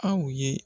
Aw ye